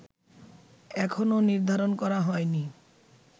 এখনো নির্ধারণ করা হয়নি